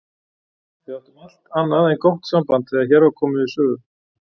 Við áttum allt annað en gott samband þegar hér var komið sögu.